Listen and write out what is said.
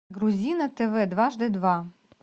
грузи на тв дважды два